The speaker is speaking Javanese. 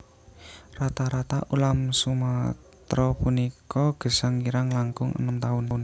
Rata rata ulam Sumatra punika gesang kirang langkung enem taun